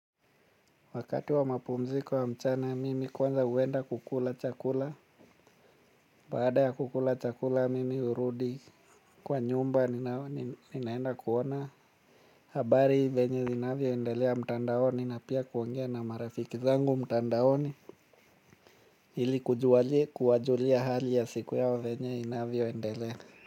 Wakati wa mapumziko wa mchana, mimi kwanza huenda kukula chakula. Baada ya kukula chakula, mimi hurudi kwa nyumba, ninaenda kuona. Habari venye zinavyoendelea mtandaoni, na pia kuongea na marafiki zangu mtandaoni, ili kujua je kuwajulia hali ya siku yao venye inavyoendelea.